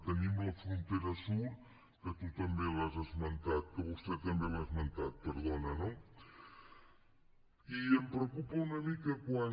tenim la frontera sud que tu també l’has esmentat que vostè també l’ha esmentat perdona no i em preocupa una mica quan